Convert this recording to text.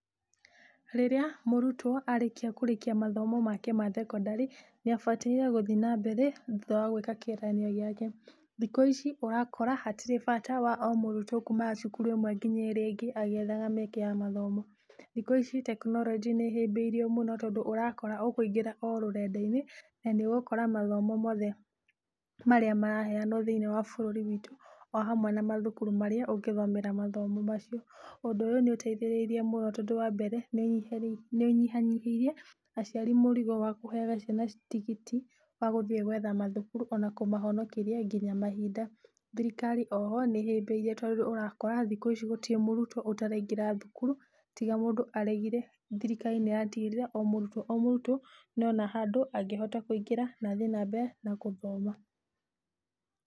Rĩrĩa mũrutwo arĩkia kũrĩkia mathomo make mathekondarĩ, nĩabataire gũthii na mbere thutha wagwĩka kĩgeranio gĩake, thikũ ici ũrakora hatirĩ bata wa ũmũrutwa kuma cukuru ĩmwe nginya ĩrĩa ĩrĩa ĩngĩ agĩethaga mĩeke mathomo, thikũ ici tekinorojĩ nĩhĩbĩirie mũno tondũ ũrakora ũkũingĩra ũrũrendainĩ na nĩ ũgũkora mathomo mothe marĩa maraheanwo thĩinĩ wa bũrũri witũ ohamwe na mathukuru marĩa ũngĩthomera mathomo macio, ũndũ ũyũ nĩũteithĩrĩrie mũno tondũ wa mbere, nĩũnyihanyihirie aciari mũrigo wa kũheaga ciana tigiti wagũthiĩ gwentha mathukuru ona kũmahonokia nginyagia mahinda, thirikari oho nĩhĩbĩirie tondũ ũrakora thikũ ici gũtirĩ mũritwo ataraingĩra thukuru tiga mũndũ aragire, thirikari ĩratigĩrĩra omũrutwo omũrutwo nĩona handũ angĩhota kũingĩra na thiĩ na mbere na gũthoma.